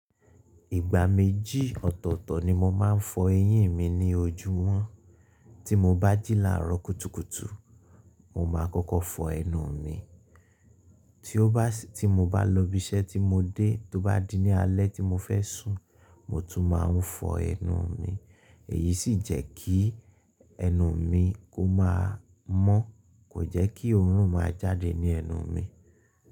Ìgbà méjì ọ̀tọ̀ọ̀tọ̀ ni mo máa ń fọ eyín mi ní ojú wọ́n. Tí mo bá jílà rókútùkùtù, mo máa kọ́kọ́ fọ ẹnu mi. Tí ó bá sí, tí mo bá lọ ibi iṣẹ́ tí mo dé, tó bá di ní alẹ́ tí mo fẹ́ sùn mo tún máa ń fọ ẹnu mi. Èyí sì jẹ́ kí ẹnu mi kó máa mọ́, kò jẹ́ kí òórùn máa jáde ní ẹnu mi.